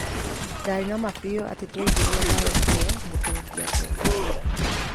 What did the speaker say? Ndaarĩ na ma biũ atĩ tuaingeria bao iyũ nĩ tũngĩatooririe".